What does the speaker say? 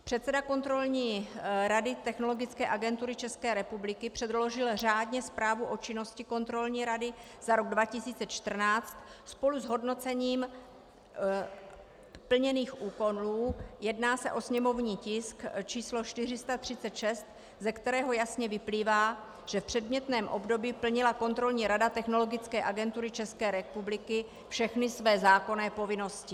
Předseda Kontrolní rady Technologické agentury České republiky předložil řádně Zprávu o činnosti Kontrolní rady za rok 2014 spolu s hodnocením plněných úkonů, jedná se o sněmovní tisk číslo 436, ze kterého jasně vyplývá, že v předmětném období plnila Kontrolní rada Technologické agentury České republiky všechny své zákonné povinnosti.